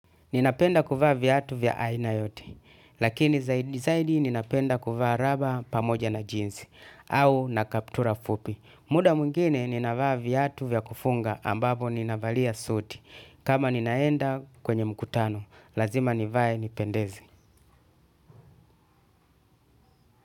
Ninapenda kuvaa viatu vya aina yote, lakini zaidi zaidi ninapenda kuvaa raba pamoja na jeans, au na kaptura fupi. Muda mwingine ninavaa viatu vya kufunga ambapo ninavalia suti, kama ninaenda kwenye mkutano, lazima nivae nipendeze.